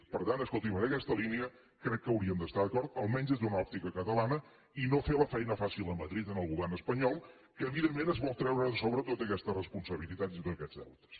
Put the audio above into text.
per tant escolti’m en aquesta línia crec que hauríem d’estar d’acord almenys des d’una òptica catalana i no fer la feina fàcil a madrid amb el govern espanyol que evidentment es vol treure de sobre totes aquestes responsabilitats i tots aquests deutes